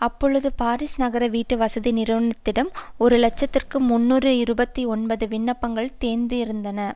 அப்பொழுது பாரிஸ் நகர வீட்டு வசதி நிறுவனத்திடம் ஒரு இலட்சத்தி முன்னூற்று இருபத்தி ஒன்பது விண்ணப்பங்கள் தேங்கியிருந்தன